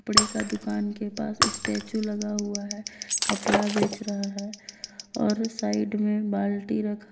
कपड़े का दुकान के पास स्टैचू लगा हुआ है कपड़ा बेच रहा है और साइड में बाल्टी रखा।